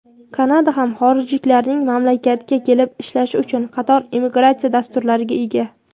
Kanada ham xorijliklarning mamlakatga kelib ishlashi uchun qator immigratsiya dasturlariga ega.